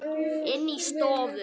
Inni í stofu.